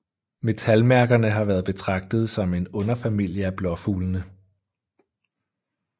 Metalmærkerne har været betragtet som en underfamilie af blåfuglene